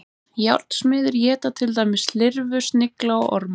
Járnsmiðir éta til dæmis lirfur, snigla og orma.